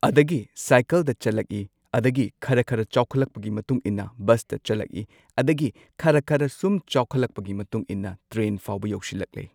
ꯑꯗꯒꯤ ꯁꯥꯏꯀꯜꯗ ꯆꯠꯂꯛꯏ ꯑꯗꯒꯤ ꯈꯔ ꯈꯔ ꯆꯥꯎꯈꯠꯂꯛꯄꯒꯤ ꯃꯇꯨꯡ ꯏꯟꯅ ꯕꯁꯇ ꯆꯠꯂꯛꯂꯛꯏ ꯑꯗꯒꯤ ꯈ꯭ꯔ ꯈꯔ ꯁꯨꯝ ꯆꯥꯎꯈꯠꯂꯛꯄꯒꯤ ꯃꯇꯨꯡ ꯏꯟꯅ ꯇ꯭ꯔꯦꯟ ꯐꯥꯎꯕ ꯌꯧꯁꯤꯜꯂꯛꯂꯦ꯫